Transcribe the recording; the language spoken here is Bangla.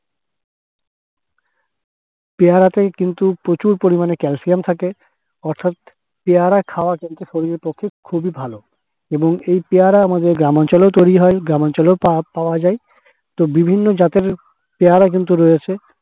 পেয়ারাতেই কিন্তু প্রচুর পরিমাণে calcium থাকে অর্থাৎপেয়ারা খাওয়া কিন্তু শরীরের পক্ষে খুব ই ভালো এবং এই পেয়ারা আমাদের গ্রামাঞ্চলেও তৈরি হয়, গ্রামাঞ্চলেও তা পাওয়া যায় তো বিভিন্ন জাতের পেয়ারা কিন্তু রয়েছে।